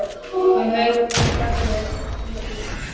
Hún heyrir hvernig brakar í heilabúi hans.